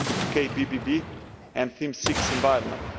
KBBE, and Theme 6 environment.